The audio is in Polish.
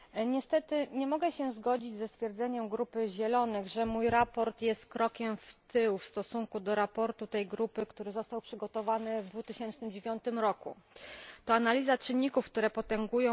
Niestety nie mogę się zgodzić ze stwierdzeniem grupy Zielonych, że moje sprawozdanie jest krokiem w tył w stosunku do sprawozdania tej grupy, które zostało przygotowane w 2009 roku.